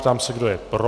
Ptám se, kdo je pro.